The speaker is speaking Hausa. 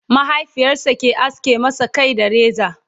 mahaifiyarsa ke aske masa Kai da reza